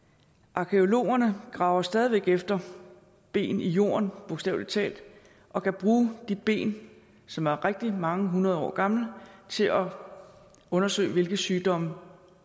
arkæologerne graver stadig væk efter ben i jorden bogstavelig talt og kan bruge de ben som er rigtig mange hundrede år gamle til at undersøge hvilke sygdomme